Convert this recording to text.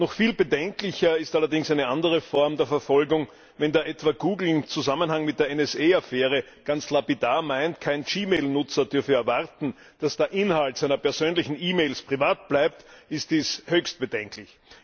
Noch viel bedenklicher ist allerdings eine andere Form der Verfolgung Wenn da etwa Google in Zusammenhang mit der NSA Affäre ganz lapidar meint, kein gmail Nutzer dürfe erwarten, dass der Inhalt seiner persönlichen E Mails privat bleibt, ist dies höchst bedenklich.